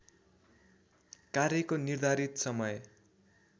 कार्यको निर्धारित समय